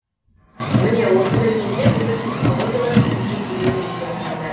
міне осындай кезде біздің технологиялар көмекке келеді дейді мамандар